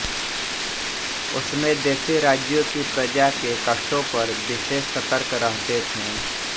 उसमें देशी राज्यों की प्रजा के कष्टों पर विशेष सतर्क रहते थे